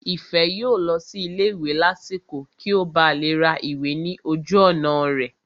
Ìfẹ́ yóò lọ sí ilé ìwé lásìkò kí ó ba lè ra ìwé ní ojú ọ̀nà rẹ̀